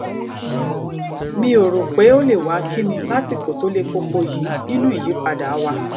mi ò rò pé ó lè wá kí mi lásìkò tó le koko yìí nínú ìyípadà wa